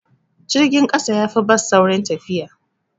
Jirgin ƙasa yafi bas saurin tafiya.